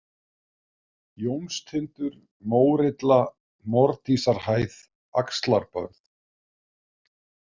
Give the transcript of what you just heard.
Jónstindur, Mórilla, Mordísarhæð, Axlarbörð